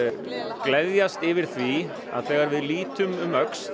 gleðjast yfir því að þegar við lítum um öxl